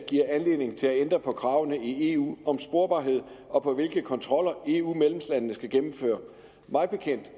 giver anledning til at ændre på kravene i eu om sporbarhed og på hvilke kontroller eu medlemslandene skal gennemføre mig bekendt